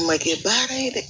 Ma kɛ baara ye dɛ